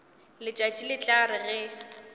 letšatši le tla re ge